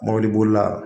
Mɔbilibolila